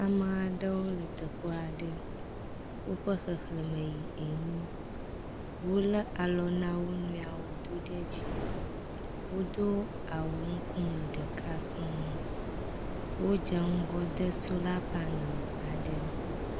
Ame aɖewo le teƒe aɖe, woƒe xexlẽme yi enyi. Wole alɔ na wo nɔewo do ɖe dzi. Wodo awu ŋkume ɖeka sɔŋ. Wodze ŋgɔ de sola paneli aɖe.